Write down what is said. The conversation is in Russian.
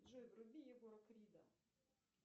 джой вруби егора крида